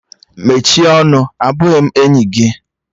Mechie ọnụ! Abụghị m enyi gị!